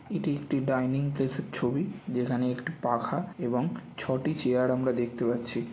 এটি একটি dining place ছবি যেখানে একটি পাখা এবং ছটি চেয়ার আমরা দেখতে পাচ্ছি।